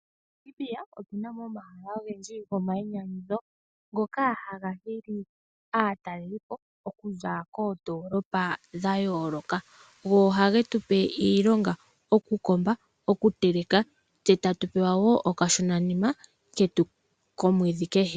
MoNamibia otuna mo omahala ogendji gomainyanyudho, ngoka haga hili aatalelipo okuza koondoolopa dha yooloka. Ohage tupe iilonga, okukomba, okuteleka, tse tatu pewa wo okashona nima ketu komwedhi kehe.